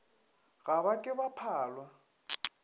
ga ba ke ba phalwa